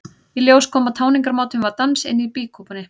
Í ljós kom að tjáningarmátinn var dans inni í býkúpunni.